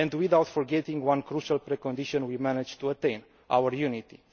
Without forgetting one crucial precondition we managed to attain our unity.